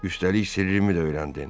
Üstəlik sirrimi də öyrəndin.